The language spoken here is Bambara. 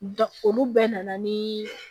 Da olu bɛɛ nana ni